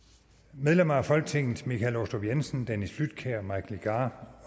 medlemmer af folketinget michael aastrup jensen dennis flydtkjær mike legarth